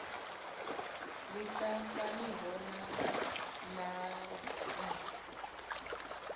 ḽi sa faniho na maṅwe